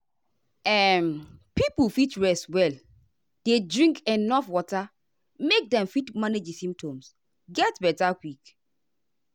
um pipo fit rest well dey drink enuf water make dem fit manage di symptoms get beta quick.